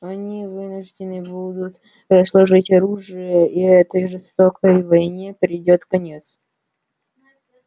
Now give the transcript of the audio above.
они вынуждены будут сложить оружие и этой жестокой войне придёт конец